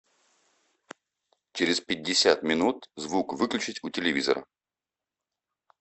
через пятьдесят минут звук выключить у телевизора